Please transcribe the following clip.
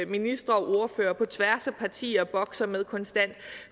ministre og ordførere på tværs af partier bokser med konstant